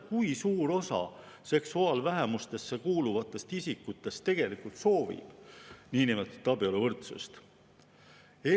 Kui suur osa seksuaalvähemustesse kuuluvatest isikutest tegelikult soovib niinimetatud abieluvõrdsust?